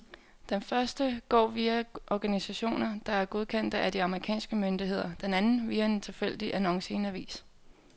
Den første går via organisationer, der er godkendte af de amerikanske myndigheder, den anden via en tilfældig annonce i en avis.